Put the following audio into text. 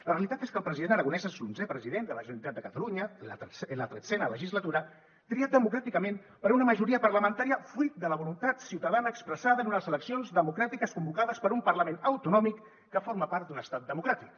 la realitat és que el president aragonès és l’onzè president de la generalitat de catalunya en la tretzena legislatura triat democràticament per una majoria parlamentària fruit de la voluntat ciutadana expressada en unes eleccions democràtiques convocades per un parlament autonòmic que forma part d’un estat democràtic